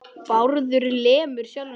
Bárður lemur sjálfan sig.